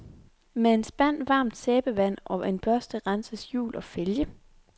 Med en spand varmt sæbevand og en børste renses hjul og fælge.